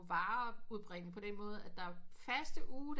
Varer udbringning på den måde at der faste ugedage